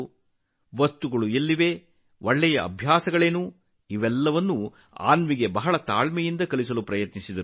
ಯಾವ ವಸ್ತುವಿಗೆ ಯಾವುದು ಸೂಕ್ತವಾದ ಸ್ಥಳ ಒಳ್ಳೆಯ ಅಭ್ಯಾಸಗಳು ಯಾವುವು ಇವೆಲ್ಲವನ್ನೂ ಅನ್ವಿಗೆ ಬಹಳ ತಾಳ್ಮೆಯಿಂದ ಕಲಿಸಲು ಪ್ರಯತ್ನಿಸಿದರು